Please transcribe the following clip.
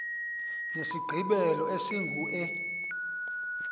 nesigqibelo esingu e